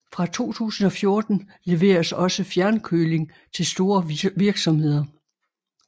Fra 2014 leveres også fjernkøling til store virksomheder